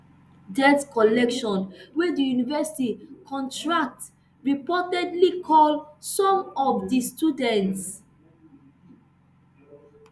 debt collection wey di university contract reportedly call some of di students